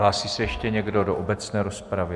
Hlásí se ještě někdo do obecné rozpravy?